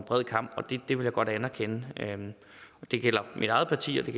bred kam og det vil jeg godt anerkende det gælder mit eget parti og det